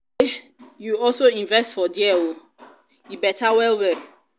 i no know say you also invest for there oo e beta well well.